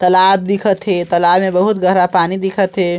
तालाब दिखत हे तालाब में बहुत गहरा पानी दिखत हे।